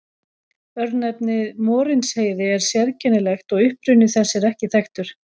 Örnefnið Morinsheiði er sérkennilegt og uppruni þess er ekki þekktur.